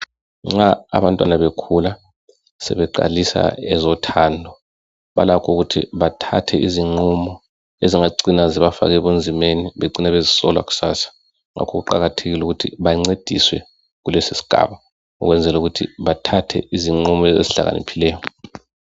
Nxa abantwana bekhula, sebeqalisa ezothando balakho ukuthi bathathe izinqumo ezingacina zibafaka ebunzimeni becine sebezisola kusasa. Ngakho kuqakathekile ukuthi bancediswe kulesi sigaba, ukwenzela ukuthi bathathe izinqumo ezihlakaniphileyo.